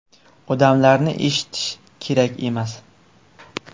Odamlarni eshitishi kerak emas.